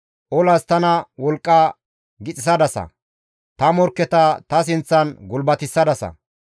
Olas tana wolqqa gixissadasa; ta morkketa ta sinththan gulbatissadasa.